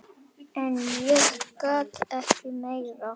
En ég gat ekki meir.